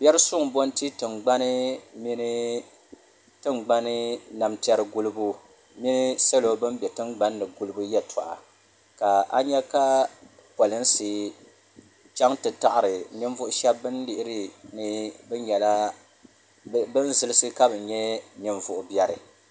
Biɛri suŋ zaŋti tingbani ni tingbani namtiɛri gulibu salo ban be tingbanni gulibu yeltɔɣa ka nyɛ ka pirinsi chaŋ ti taɣari ninvuɣu sheba bini lihiri ni bɛ nyɛla bini zilisi ka bɛ nyɛ ninvuɣu biɛri.